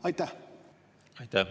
Aitäh!